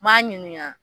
N m'a ɲininka